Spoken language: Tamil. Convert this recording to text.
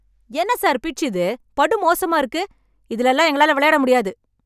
என்ன சார் பிட்ச் இது? படுமோசமா இருக்கு. இதுல எல்லாம் எங்களால விளையாட முடியாது.